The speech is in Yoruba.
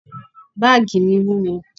Báàgì mi wúwo.